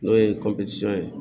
N'o ye ye